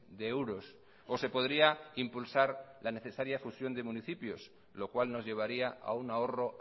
de euros o se podría impulsar la necesaria fusión de municipios lo cual nos llevaría a un ahorro